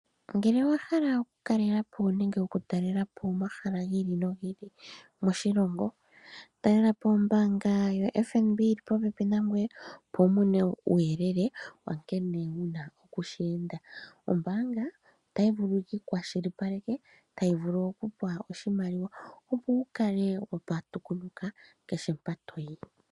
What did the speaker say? Ngele owa hala oku kalela po nenge oku talela po omahala giili nogi ili moshilongo, ta lela po ombaanga yo FNB yili po pepi na ngoye opo wu mone uuyelele na nkene wuna okushi enda. Ombaanga otayi vulu yi ku kwa shili paleke, tayi vulu oku kupa oshimaliwa, opo wu kale oku patukunuka kehe mpa toyi.